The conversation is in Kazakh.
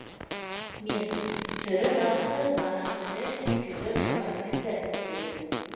мен түрі басы барыстікі секілді жұмыр кісі дедім